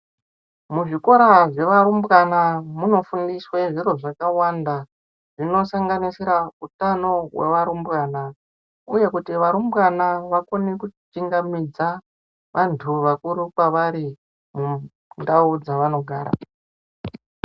Muzvikora zvevarumbwana munofundiswe zviro zvakawanda, zvinosanganisira utano hwearumbwana, uye kuti varumbwana vakone kuchingamidza ,vantu vakuru kwevari ,mundau dzavanogara.